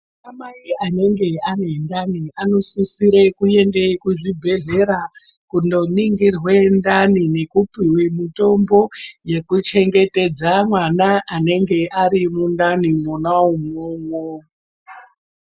Anamai anenge ane ndani anosisire kuende kuzvibhedhlera kundoningirwe ndani nekupuve mutombo. Vekuchengetedze mwana anenge ari mundani mwona imwomwo.